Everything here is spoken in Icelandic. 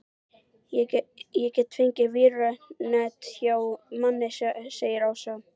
Ég get fengið vírnet hjá manni segir Ása.